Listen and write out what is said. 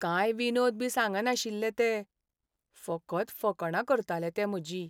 कांय विनोद बी सांगनाशिल्लें तें, फकत फकाणां करतालें तें म्हजीं.